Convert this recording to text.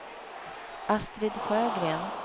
Astrid Sjögren